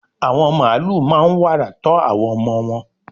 àwọn màálù máa n wàrà tọ́ àwọn ọmọ wọn